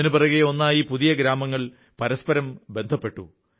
ഒന്നിനു പിറകെ ഒന്നായി പുതിയ ഗ്രാമങ്ങൾ പരസ്പരം ബന്ധപ്പെട്ടു